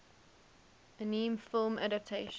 anime film adaptation